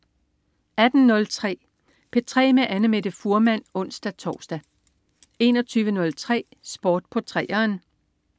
18.03 P3 med Annamette Fuhrmann (ons-tors) 21.03 Sport på 3'eren